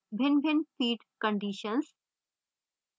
भिन्नभिन्न feed conditions